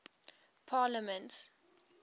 parliaments